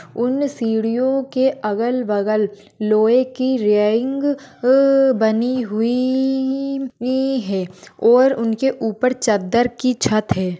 उन सिडियो के अगल बगल लोही की रेलिंग अ बनी हुईई ई ई ये है और उनके उपर चद्दर की छत है।